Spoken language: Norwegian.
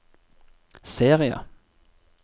serie